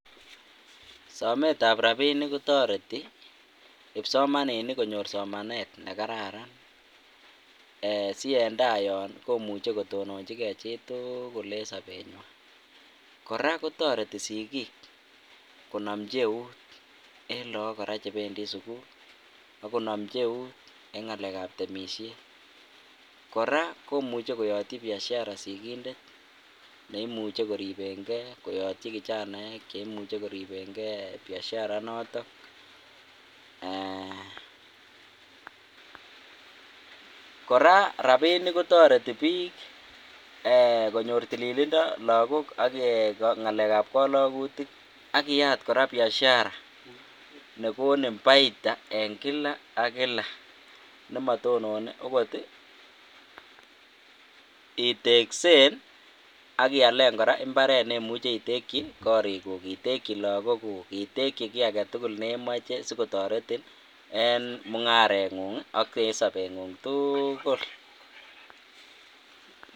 Somet tab rabinik kotoreti kipsomaninik konyor somanet nekararan si en tai yon komuche kotononchi gee chituuukul en somenywan. Koraa kotoretin sikik konomchi eut en lok Koraa chependii sukul akonomchu eut en ngalek ab temishet, Koraa komuche koyotyi biashara sikindet nemuche koribe gee koyotyi kijanaek cheimuche keribengee biashara notok eeeh. Koraa rabinik kotoreti bik eeh konyor tililindo lokok ak eeh ngalek ab kolokutik ak iyaat Koraa biashara nekonin paita en kila ak kila nemotonone okoti iteksen ak ialen Koraa imbaret nemuche iteki korik kuuk iteki lokok kuuk, iteki kii agetukul nemoche sikotoretin en mungarengu ak sobenguny tuukul.